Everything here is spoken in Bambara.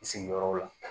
N sigiyɔrɔ la